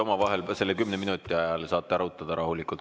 Omavahel te selle kümne minuti ajal saate arutada rahulikult.